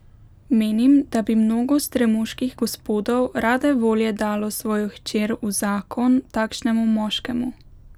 Menim, da bi mnogo stremuških gospodov rade volje dalo svojo hčer v zakon takšnemu moškemu.